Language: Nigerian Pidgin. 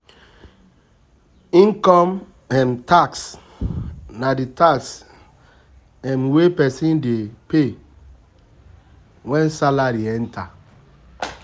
Income um tax na di tax um wey person dey pay when salary enter